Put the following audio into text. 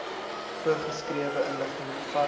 voorgeskrewe inligting bevat